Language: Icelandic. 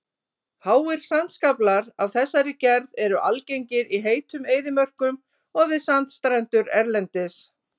Háir sandskaflar af þessari gerð eru algengir í heitum eyðimörkum og við sandstrendur erlendis.